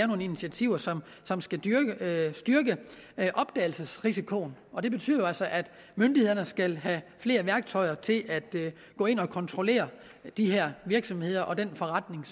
nogle initiativer som skal styrke opdagelsesrisikoen og det betyder jo altså at myndighederne skal have flere værktøjer til at gå ind at kontrollere de her virksomheder og den forretning